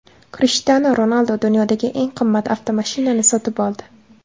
Krishtianu Ronaldu dunyodagi eng qimmat avtomashinani sotib oldi.